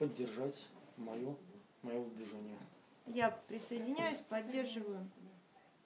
поддержать моё моё выдвижение я присоединяюсь поддерживаю